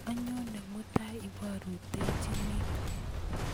anyonee mutai iporutoichinin